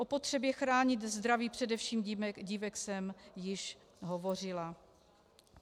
O potřebě chránit zdraví především dívek jsem již hovořila.